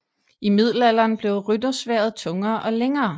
I middelalderen blev ryttersværdet tungere og længere